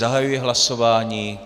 Zahajuji hlasování.